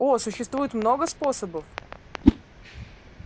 о существует много способов